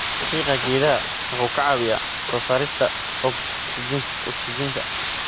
Qiiqa geedaha wuxuu ka caawiyaa soo saarista ogsijiinta.